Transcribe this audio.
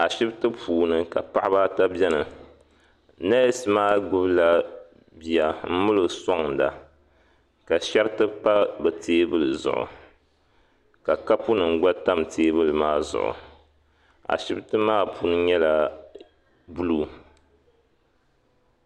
Ashibiti puuni ka paɣaba ata bɛni nɛsi maa gbubi la bia m mali o suaŋda ka shɛriti pa bi tɛɛbuli ka kapu nima gba tami tɛɛbuli maa zuɣu ashibiti maa puuni nyɛla buluu.